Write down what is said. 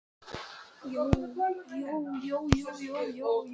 Þessum spurningum og fjölmörgum öðrum er hér svarað á grundvelli